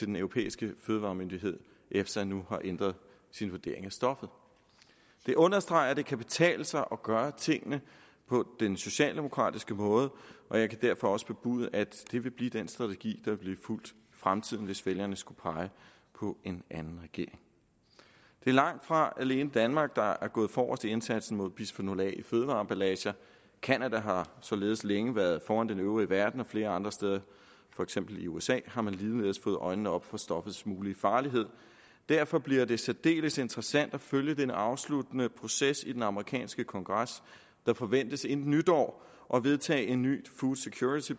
den europæiske fødevaremyndighed efsa nu har ændret sin vurdering af stoffet det understreger at det kan betale sig at gøre tingene på den socialdemokratiske måde og jeg kan derfor også bebude at det vil blive den strategi vil blive fulgt i fremtiden hvis vælgerne skulle pege på en anden regering det er langt fra alene danmark der er gået forrest i indsatsen mod bisfenol a i fødevareemballager canada har således længe været foran den øvrige verden og flere andre steder for eksempel i usa har man ligeledes fået øjnene op for stoffets mulige farlighed derfor bliver det særdeles interessant at følge den afsluttende proces i den amerikanske kongres der forventes inden nytår at vedtage en ny food security